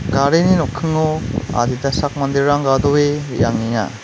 garini nokkingo adita sak manderang gadoe re·angenga.